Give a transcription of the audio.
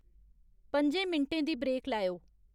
पं'जें मिंटें दी ब्रेक लैओ